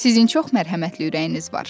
Sizin çox mərhəmətli ürəyiniz var.